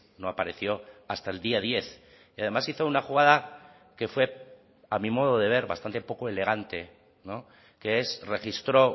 no apareció hasta el día diez y además hizo una jugada que fue a mi modo de ver bastante poco elegante que es registró